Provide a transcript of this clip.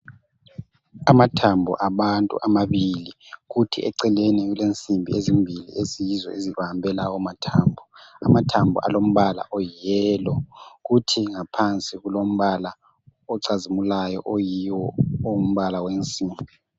Amathambo abantu amabili kuthi eceleni kulensimbi ezimbili eziyizo ezibambe lawo mathambo ,amathambo alombala oyi yellow kuthi ngaphansi kulombala ocazimulayo oyiwo ongumbala wensimbi.